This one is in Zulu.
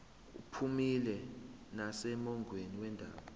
uphumile nasemongweni wendaba